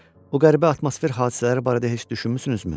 O qəribə atmosfer hadisələri barədə heç düşünmüsünüzmü?